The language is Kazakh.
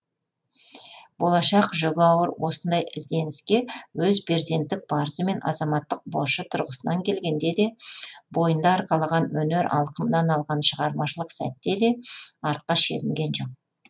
болашақ жүгі ауыр осындай ізденіске өз перзенттік парызы мен азаматтық борышы тұрғысынан келгенде де бойында арқалаған өнер алқымынан алған шығармашылық сәтте де артқа шегінген жоқ